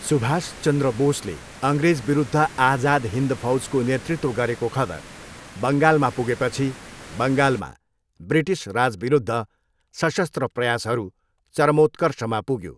सुभाष चन्द्र बोसले अङ्ग्रेजविरुद्ध आजाद हिन्द फौजको नेतृत्व गरेको खबर बङ्गालमा पुगेपछि बङ्गालमा ब्रिटिस राजविरुद्ध सशस्त्र प्रयासहरू चरमोत्कर्षमा पुग्यो।